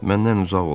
Məndən uzaq olun!